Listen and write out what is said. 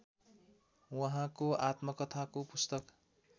उहाँको आत्मकथाको पुस्तक